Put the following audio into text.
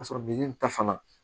Ka sɔrɔ ta fana